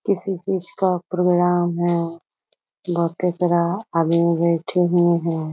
किसी चीज का प्रोग्राम है बहुत ही सारा आदमी बैठे हुए हैं।